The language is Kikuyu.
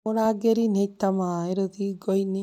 Mũrangĩri nĩaita maaĩ rũthingo-inĩ